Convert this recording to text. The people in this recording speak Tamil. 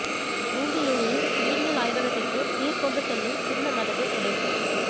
பூண்டி ஏரியில் நீரியல் ஆய்வகத்திற்கு நீர் கொண்டு செல்லும் சின்ன மதகு உடைப்பு